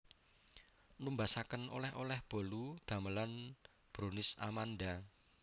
Numbasaken oleh oleh bolu damelan Brownies Amanda